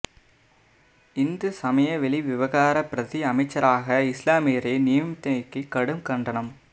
இந்து சமய வெளிவிவகார பிரதி அமைச்சாராக இஸ்லாமியரை நியமித்தமைக்கு கடும் கண்டனம்